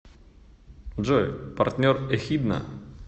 джой партнер эхидна